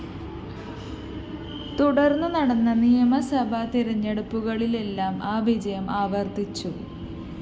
തുടര്‍ന്ന് നടന്ന നിയമസഭാ തെരഞ്ഞെടുപ്പുകളിലെല്ലാം ആ വിജയം ആവര്‍ത്തിച്ചു